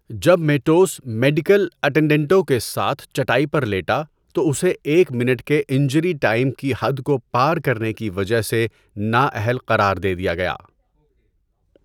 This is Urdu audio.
جب میٹوس میڈیکل اٹینڈنٹوں کے ساتھ چٹائی پر لیٹا تو اسے ایک منٹ کے انجری ٹائم کی حد کو پار کرنے کی وجہ سے نااہل قرار دے دیا گیا۔